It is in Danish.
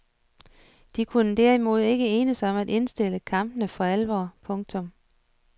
De kunne derimod ikke enes om at indstille kampene for alvor. punktum